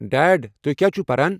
Dead ،تُہۍ کیٛاہ چھِو پران ؟